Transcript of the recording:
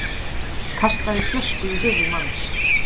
Kastaði flösku í höfuð manns